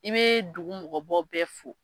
I bɛ dugu mɔgɔbaw bɛ fo.